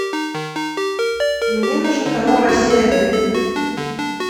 мне нужен канал россия один